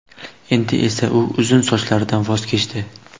Endi esa u uzun sochlaridan voz kechdi.